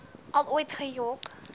al ooit gejok